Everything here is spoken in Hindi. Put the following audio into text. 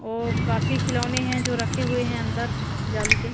और काफी खिलौने हैं जो रखे हुए हैं अंदर जाली के।